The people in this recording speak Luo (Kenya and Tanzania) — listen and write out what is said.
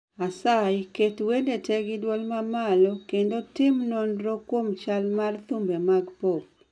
Asayi keto wende te gi dwol mamalo kendo timo nonro kuom chal mar thumbe mag pop